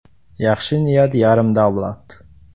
Yaxshi niyat yarim davlat”.